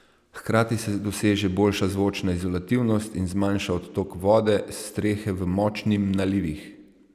Hkrati se doseže boljša zvočna izolativnost in zmanjša odtok vode s strehe v močnim nalivih.